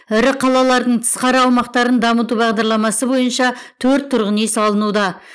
ірі қалалардың тысқары аумақтарын дамту бағдарламасы бойынша төрт тұрғын үй салынуда